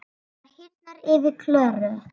Það hýrnar yfir Klöru.